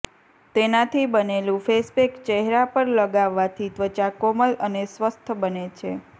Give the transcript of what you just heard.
તેનાથી બનેલું face pack ચહેરા પર લગાવવાથી ત્વચા કોમલ અને સ્વસ્થ બને છે